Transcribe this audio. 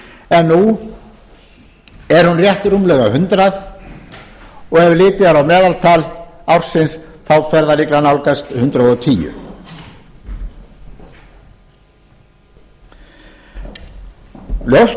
en nú er hún rétt rúmlega hundrað og ef litið er á meðaltal ársins fer það líklega að nálgast hundrað og tíu ljóst